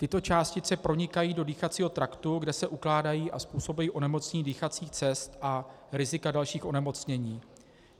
Tyto částice pronikají do dýchacího traktu, kde se ukládají a způsobují onemocnění dýchacích cest a rizika dalších onemocnění.